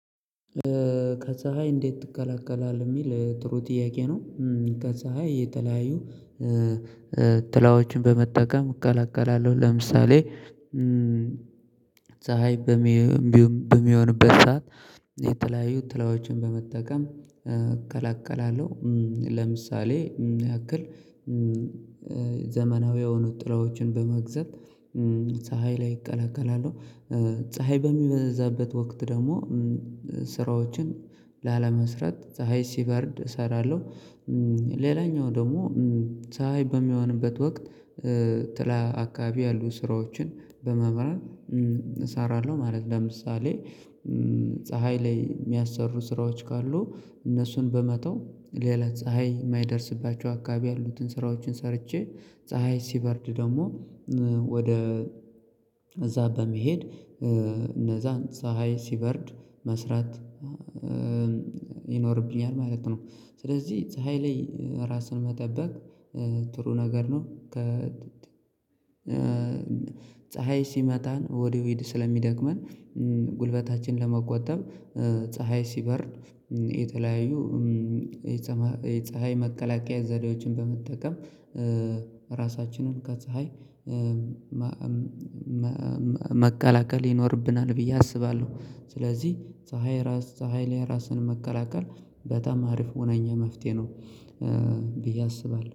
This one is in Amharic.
ከዛ ላይ እንዴት ትከላከላለህ የሚል ጥሩ ጥያቄ ነው። ከፀሀይ የተለያዩ ትላዎችን በመጠቀም እቀላቀላለሁ። ለምሳሌ ፀሀይ በሚሆንበት ሰዓት የተለያዩ ጥላዎችን በመጠቀም እከላከላለሁ። ለምሳሌ ያክል ዘመናዊ የሆኑት ጥላዎችን በመግዛት ፀሀይ ላይ እከላከላለው። ፀሀይ በሚበዛበት ወቅት ደግሞ ስራዎችን ላለመስራት ፀሀይ ሲበርድ እሰራለሁ። ሌላኛው ደግሞ ፀሀይ በሚሆንበት ወቅት ጥላ አካባቢ ያሉ ስራዎችን በመምራት እሰራለሁ ማለት ነው። ለምሳሌ ፀሀይ ላይ የሚያሰሩ ስራዎች ካሉ እነሱን በመተው ሌላ ፀሀይ የማይደርስባቸው አካባቢ ያሉትን ስራዎችን ሰርቼ ፀሀይ ሲበርድ ደግሞ ወደ እዛ በመሄድ እነዛን ፀሀይ ሲበርድ መስራት ይኖርብኛል ማለት ነው። ስለዚህ ፀሀይ ላይ ራስን መጠበቅ ጥሩ ነገር ነው። ፀሀይ ሲመታን ወዲያው ስለሚደግመን ጉልበታችን ለመቆጠብ ፀሀይ ሲበርድ የተለያዩ የፀሀይ መከላከያ ዘዴዎችን በመጠቀም ራሳችንን ከፀሀይ መከላከል ይኖርብናል ብዬ አስባለሁ። ስለዚህ ፀሀይ ራስ ፀሀይ ላይ ራስን መከላከል በጣም አሪፍ የሆነ መፍትሄ ነው ብዬ አስባለሁ